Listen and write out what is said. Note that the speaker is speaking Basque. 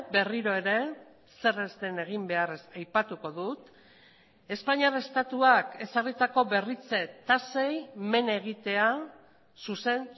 berriro ere zer ez den egin behar aipatuko dut espainiar estatuak ezarritako berritze tasei men egitea zuzen